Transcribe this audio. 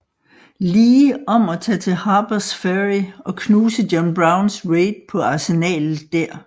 Lee om at tage til Harpers Ferry og knuse John Browns raid på arsenalet der